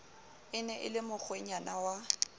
ne e le mokgwenyana wa